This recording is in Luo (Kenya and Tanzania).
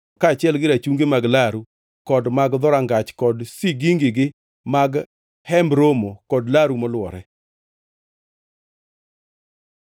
kaachiel rachungi mag laru kod mag dhorangach kod sigingigi mag Hemb Romo kod laru molwore.